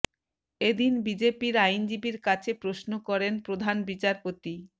এদিন বিজেপির আইনজীবীর কাছে প্রশ্ন করেন প্রধান বিচারপতি